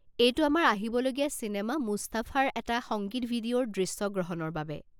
এইটো আমাৰ আহিবলগীয়া চিনেমা 'মুস্তাফা'ৰ এটা সংগীত ভিডিঅ'ৰ দৃশ্যগ্ৰহণৰ বাবে।